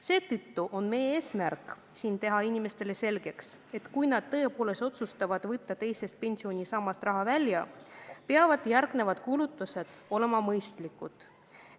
Seetõttu on meie eesmärk teha inimestele selgeks, et kui nad tõepoolest otsustavad võtta teisest pensionisambast raha välja, siis peavad sellele järgnevad kulutused olema mõistlikud.